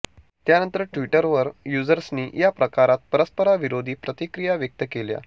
त्यानंतर ट्विटर युजर्सनी या प्रकारावर परस्पराविरोधी प्रतिक्रिया व्यक्त केल्या